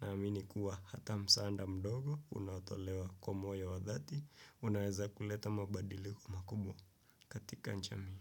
na amini kuwa hata msaada mdogo, unaotolewa kwa moyo wa dhati, unaweza kuleta mabadiliko makubwa katika jamii.